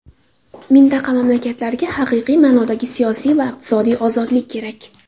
Mintaqa mamlakatlariga haqiqiy ma’nodagi siyosiy va iqtisodiy ozodlik kerak.